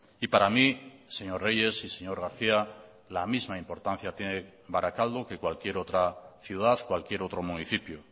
y para mí señor reyes y señor garcía la misma importancia tiene barakaldo que cualquier otra ciudad cualquier otro municipio